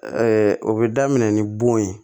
o bɛ daminɛ ni bon ye